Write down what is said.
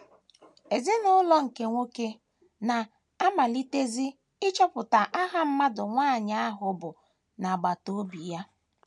Ezinụlọ nke nwoke na - amalitezi ịchọpụta aha mmadụ nwanyị ahụ bụ n’agbata obi ya.